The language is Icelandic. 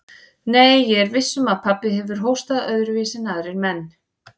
Nei, ég er viss um að pabbi hefur hóstað öðruvísi en aðrir menn.